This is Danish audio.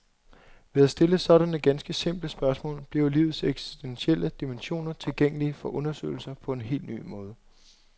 Ved at stille sådanne ganske simple spørgsmål, bliver livets eksistentielle dimensioner tilgængelige for undersøgelser på en hel ny måde.